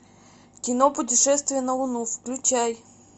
кино путешествие на луну включай